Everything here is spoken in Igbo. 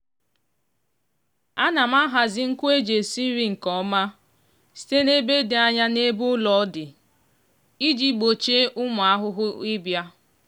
ana m ahazi nkụ e ji esi nri nke ọma site n'ebe dị anya n'ebe ụlọ dị iji gbochie ụmụ ahụhụ ịbịa.